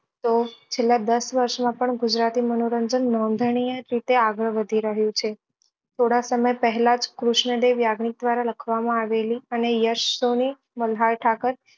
તો છેલ્લા દસ વર્ષ માં પણ ગુજરાતી મનોરંજન નોંધનીય રીતે આગળ વધી રહ્યું છે થોડા સમય પહેલા જ કૃષ્ણ દેવ યાગ્નિક દ્વારા માં લખવા માં આવેલી અને યશ સોની, મલ્હાર ઠાકર